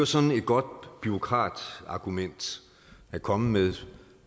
sådan et godt bureaukratargument at komme med